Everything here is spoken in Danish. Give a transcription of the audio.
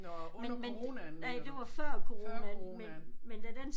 Nåh under coronaen mener du? Før coronaen